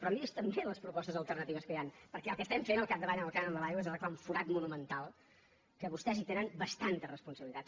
però mirin se també les propostes alternatives que hi han perquè el que estem fent al capdavall en el cànon de l’aigua és arreglar un forat monumental que vostès hi tenen bastanta responsabilitat